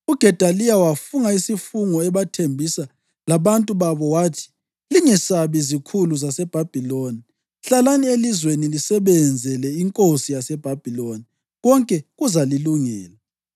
UGedaliya wafunga isifungo ebathembisa labantu babo wathi: “Lingesabi izikhulu zaseBhabhiloni. Hlalani elizweni lisebenzele inkosi yaseBhabhiloni, konke kuzalilungela.”